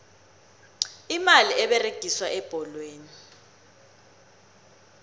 imali eberegiswa ebholweni